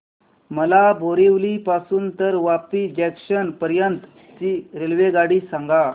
मला बोरिवली पासून तर वापी जंक्शन पर्यंत ची रेल्वेगाडी सांगा